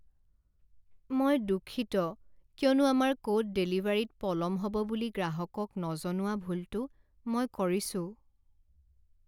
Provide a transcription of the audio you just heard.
মই দুঃখিত কিয়নো আমাৰ ক'ড ডেলিভাৰীত পলম হ'ব বুলি গ্ৰাহকক নজনোৱা ভুলটো মই কৰিছোঁ।